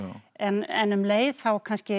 en um leið þá